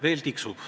Veel tiksub.